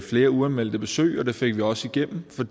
flere uanmeldte besøg og det fik vi også igennem for